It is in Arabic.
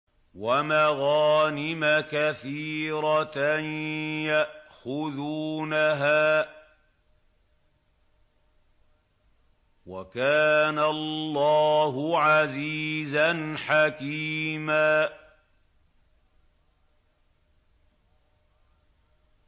وَمَغَانِمَ كَثِيرَةً يَأْخُذُونَهَا ۗ وَكَانَ اللَّهُ عَزِيزًا حَكِيمًا